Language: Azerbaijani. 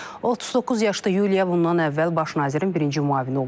39 yaşlı Yuliya bundan əvvəl baş nazirin birinci müavini olub.